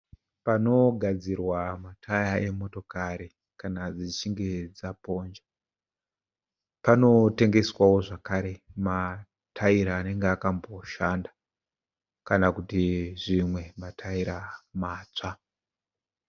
Panogadzirwa mataya emotokari kana dzichinge dzaponja. Panotengeswawo zvakare mataira anenge akaposhana kana kuti zvimwe mataira matsva